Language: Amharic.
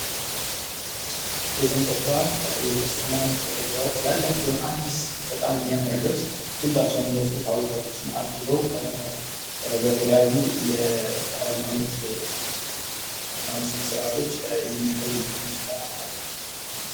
የጥምቀት በዓል የክርስትና እምነት ተከታዮች ያላቸውን አዲስ በጣም የሚያምር ልብስ ሁላቸውም ለብሰው ታቦታቶችን አጅበው በተለያዩ የሃይማኖት ሥነ ሥርዓቶች የሚያከብሩበት ሁኔታ አለ።